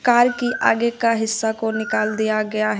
Car की आगे का हिस्सा को निकाल दिया गया है।